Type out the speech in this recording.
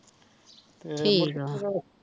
ਠੀਕ ਆ